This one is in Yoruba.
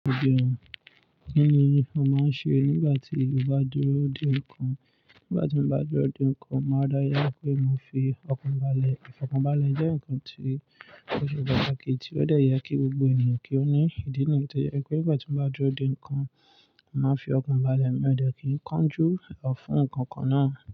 Kí ni ò máa ń ṣe nígbà tí o bá dúró dè nǹkan? Nígbà tí mo bá dúró dè nǹkan, màá dáyà pé mo fi ọkàn balẹ̀. Ìfọkànbalẹ̀ jẹ́ nǹkan tí ó ṣe pàtàkì tí ó dọ̀yà kí gbogbo ènìyàn kí ó ní ìdí nìyi tì. Ó jẹ́ pé nígbà tí mo bá dúró dè nǹkan, màá fi ọkàn balẹ̀, mi ò dẹ́ kí n kánjú ọ fún nǹkan kan náà.